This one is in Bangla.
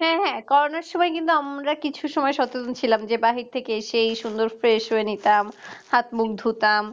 হ্যাঁ হ্যাঁ করোনার সময় আমরা কিন্তু কিছু সময় সচেতন ছিলাম যে বাহির থেকে এসেই সুন্দর ফ্রেশ হয়ে নিতাম হাতমুখ ধুতাম